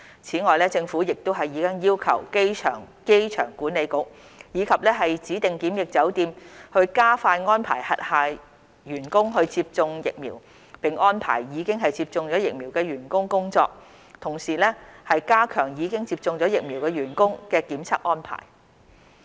此外，政府亦已要求機場管理局及指定檢疫酒店，加快安排轄下員工接種疫苗並安排已接種疫苗員工工作，同時加強已接種疫苗員工的檢測安排。